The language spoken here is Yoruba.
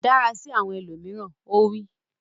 Dára sí àwọn ẹlòmíràn! Ó wí.